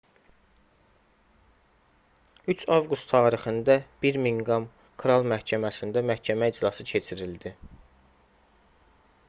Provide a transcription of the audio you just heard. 3 avqust tarixində birmiqham kral məhkəməsində məhkəmə iclası keçirildi